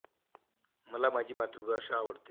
मला माझी मातृभाषा आवडते.